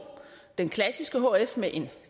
den klassiske hf med et